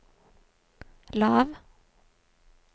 lav